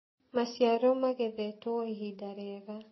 maciaro magethetwo ihinda riega